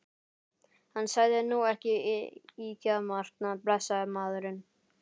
Hann sagði nú ekki ýkjamargt, blessaður maðurinn.